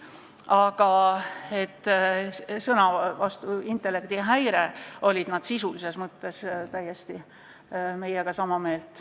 Aga sõna "intellektihäire" suhtes olid nad sisulises mõttes meiega täiesti sama meelt.